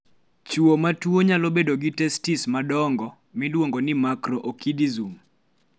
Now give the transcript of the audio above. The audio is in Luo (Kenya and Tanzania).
chuo matuwo nyalo bedogi testes nadongo(macro-orchidism)